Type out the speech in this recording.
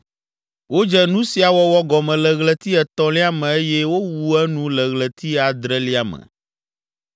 Wodze nu sia wɔwɔ gɔme le ɣleti etɔ̃lia me eye wowu enu le ɣleti adrelia me.